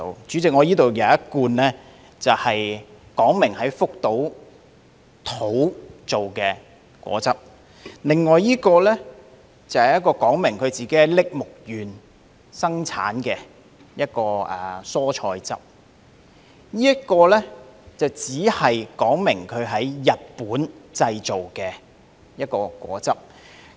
主席，我這裏有一罐說明是在福島製的果汁，另一罐說明在栃木縣生產的蔬菜汁，而這一罐只說明是在日本製造的一種果汁。